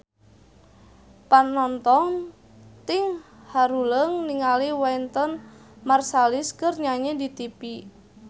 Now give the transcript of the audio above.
Panonton ting haruleng ningali Wynton Marsalis keur nyanyi di tipi